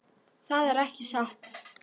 Þetta er ekki satt!